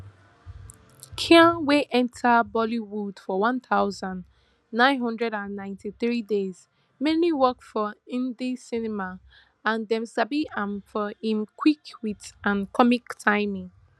khan wey enta bollywood for one thousand, nine hundred and ninety-three dey mainly work for hindi cinema and dem sabi am for im quick wit and comic timing